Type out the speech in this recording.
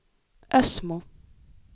Ösmo